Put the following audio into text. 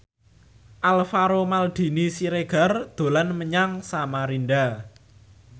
Alvaro Maldini Siregar dolan menyang Samarinda